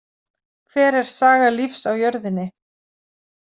Hver er saga lífs á jörðinni?